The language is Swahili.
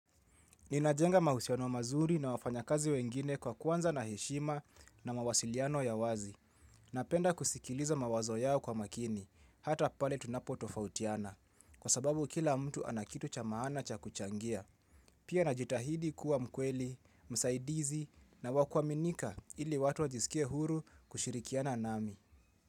Ninajenga mahusiano mazuri na wafanya kazi wengine kwa kuanza na heshima na mawasiliano ya wazi. Napenda kusikiliza mawazo yao kwa makini, hata pale tunapo tofautiana, kwa sababu kila mtu anakitu cha maana cha kuchangia. Pia najitahidi kuwa mkweli, msaidizi na wakuaminika ili watu wajisikie huru kushirikiana nami.